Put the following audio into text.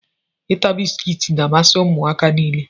Ịta bisikiiti n'amasi ụmụaka nile.